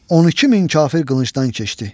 12 min kafir qılıncdan keçdi.